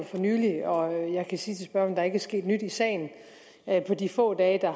for nylig og jeg kan sige til spørgeren at der ikke er sket nyt i sagen på de få dage der